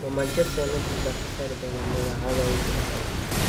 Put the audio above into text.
Ma Manchester United baa ka saari doona dabeecadda uu ku dhacay?